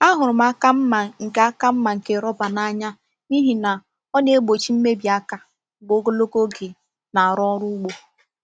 Ahụrụ m aka mma nke aka mma nke roba n’anya n’ihi na ọ na-egbochi mmebi aka mgbe ogologo oge na-arụ ọrụ ugbo.